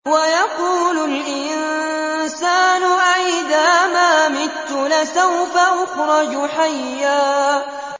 وَيَقُولُ الْإِنسَانُ أَإِذَا مَا مِتُّ لَسَوْفَ أُخْرَجُ حَيًّا